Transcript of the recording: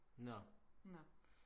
nå